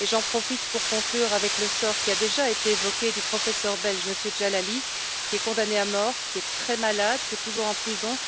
J'en profite pour conclure avec le sort, qui a déjà été évoqué, du professeur belge M. Djalali, qui est condamné à mort, qui est très malade, qui est toujours en prison.